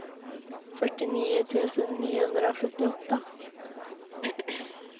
fyrtionio tusen niohundrasjuttioåtta